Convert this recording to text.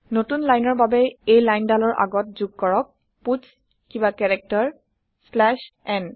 নতুন লাইনৰ বাবে এই লাইন দালৰ আগত যোগ কৰক পাটছ কিবা কেৰেক্টাৰ শ্লেচ n